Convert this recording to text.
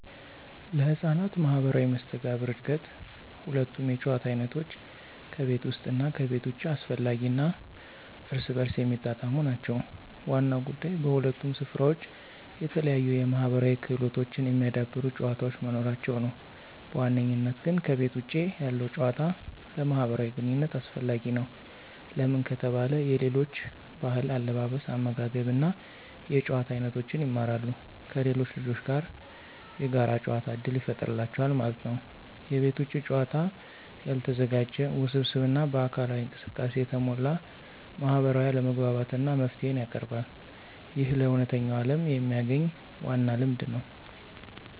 ለሕፃናት ማህበራዊ መስተጋብር እድገት ሁለቱም የጨዋታ አይነቶች (ከቤት ውስጥ እና ከቤት ውጭ) አስፈላጊ እና እርስ በርስ የሚጣጣሙ ናቸው። ዋናው ጉዳይ በሁለቱም ስፍራዎች የተለያዩ የማህበራዊ ክህሎቶችን የሚያዳብሩ ጨዋታዎች መኖራቸው ነው። በዋነኝነት ግን ከቤተ ውጭ ያለው ጭዋታ ለማህብራዊ ግንኝነት አሰፈላጊ ነው። ለምን ከተባለ የሌሎች ብህል አለባበስ አመጋገብ እና የጭዋታ አይኖቶችን ይማራሉ። ከሌሎች ልጆች ጋር የጋር ጨዋታ እድል ይፍጠሩላቸዋል ማለት ነው። የቤት ውጭ ጨዋታ ያልተዘጋጀ፣ ውስብስብ እና በአካላዊ እንቅስቃሴ የተሞላ ማህበራዊ አለመግባባትን እና መፍትሄን ያቀርባል። ይህ ለእውነተኛው ዓለም የሚያግኝ ዋና ልምድ ነው።